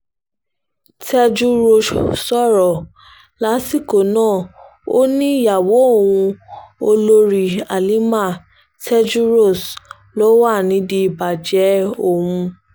tejúros sọ̀rọ̀ lásìkò náà ó ní ìyàwó òun olórí halima tejúros ló wà nídìí ìbàjẹ́ òun